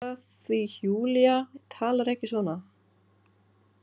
Veit það því Júlía talar ekki svona.